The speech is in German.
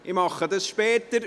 Ich mache es später.